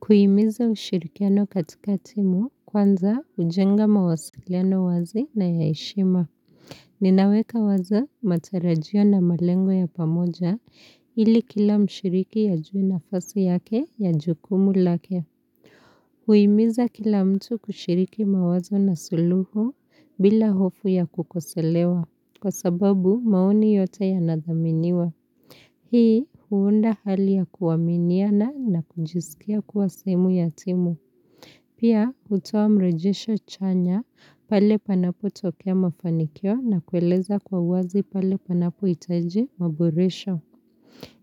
Kuhimiza ushirikiano katika timu kwanza hujenga mawasiliano wazi na ya heshima. Ninaweka wazo matarajio na malengo ya pamoja ili kila mshiriki ajue nafasi yake na jukumu lake. Kuhimiza kila mtu kushiriki mawazo na suluhu bila hofu ya kukosolewa, kwa sababu maoni yote yanathaminiwa. Hii huunda hali ya kuaminiana na kujisikia kuwa sehemu ya timu. Pia hutoa mrejesho chanya pale panapotokea mafanikio na kueleza kwa wazi pale panapohitaji maboresho.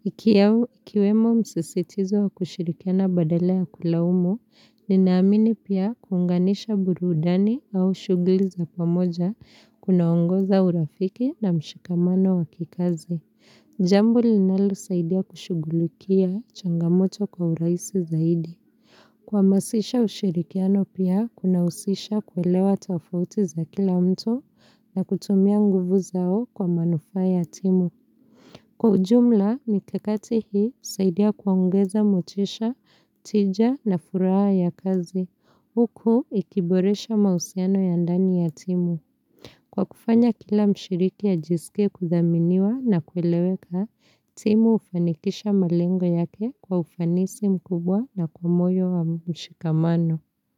Ikiwemo msisitizo wa kushirikiana badala ya kulaumu, ninaamini pia kuunganisha burudani au shughuli za pamoja kunaongoza urafiki na mshikamano wa kikazi. Jambo linalosaidia kushughulukia changamoto kwa urahisi zaidi. Kuhamasisha ushirikiano pia kunahusisha kuelewa tofauti za kila mtu na kutumia nguvu zao kwa manufaa ya timu. Kwa ujumla, mikakati hii husaidia kuongeza motisha, tija na furaha ya kazi. Huku ikiboresha mahusiano ya ndani ya timu. Kwa kufanya kila mshiriki ajisike kuthaminiwa na kueleweka, timu hufanikisha malengo yake kwa ufanisi mkubwa na kwa moyo wa mshikamano.